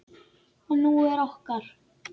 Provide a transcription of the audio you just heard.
Og hún er okkar.